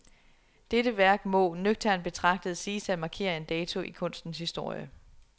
Dette værk må, nøgternt betragtet, siges at markere en dato i kunstens historie.